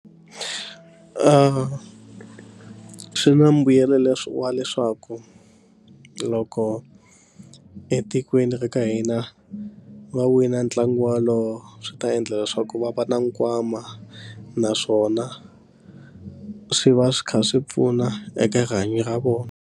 Swi na mbuyelo leswi wa leswaku loko etikweni ra ka hina va wina ntlangu wolowo swi ta endla leswaku va va na nkwama naswona swi va swi kha swi pfuna eka rihanyo ra vona.